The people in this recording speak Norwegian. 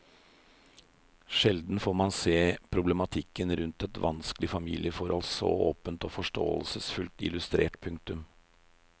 Sjelden får man se problematikken rundt et vanskelig familiefohold så åpent og forståelsesfullt illustrert. punktum